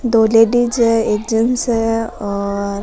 दो लेडिस है एक जेन्स है और --